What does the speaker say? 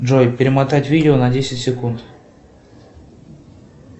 джой перемотать видео на десять секунд